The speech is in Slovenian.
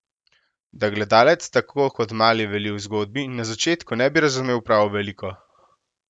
Da gledalec, tako kot mali Veli v zgodbi, na začetku ne bi razumel prav veliko?